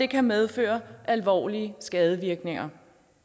kan medføre alvorlige skadevirkninger